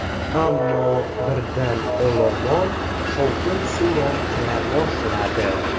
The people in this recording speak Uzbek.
Ammo birdan olomon shovqin-suron qila boshladi.